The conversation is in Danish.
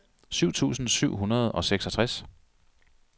syv tusind syv hundrede og seksogtres